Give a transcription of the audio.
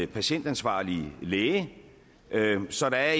patientansvarlig læge så der